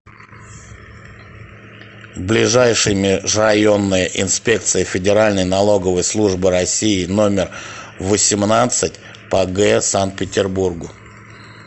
ближайший межрайонная инспекция федеральной налоговой службы россии номер восемнадцать по г санкт петербургу